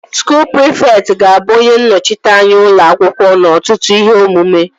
Skuul prịfekt ga-abụ onye nnọchiteanya ụlọ akwụkwọ n'ọtụtụ ihe omume